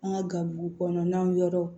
An ka gaburu kɔnɔnaw yɔrɔ